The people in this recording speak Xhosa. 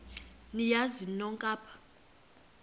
niyazi nonk apha